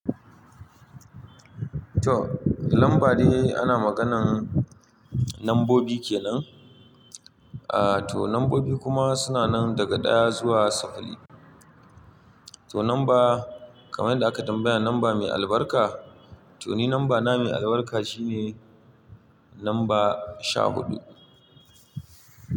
To, lamba dai ana maganan, lambobi kenan. Ah, to nambobi kuma suna nan, daga ɗaya zuwa saba'in. To namba, kamar yadda aka tambaya lamba mai albarka. To ni nambana mai albarka shine, namba sha huɗu.